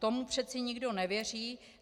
Tomu přece nikdo nevěří.